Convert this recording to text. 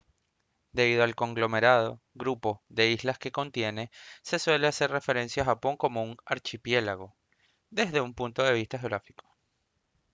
debido al conglomerado/grupo de islas que contiene se suele hacer referencia a japón como un «archipiélago» desde un punto de vista geográfico